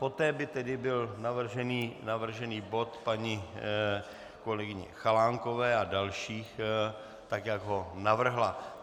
Poté by tedy byl navržený bod paní kolegyně Chalánkové a dalších tak, jak ho navrhla.